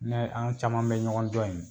Ne an caman bɛ ɲɔgɔn dɔn ye.